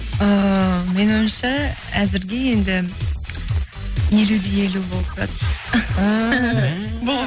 ііі менің ойымша әзірге енді елу де елу болып тұрады